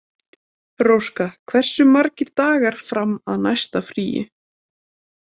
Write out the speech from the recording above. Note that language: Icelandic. Róska, hversu margir dagar fram að næsta fríi?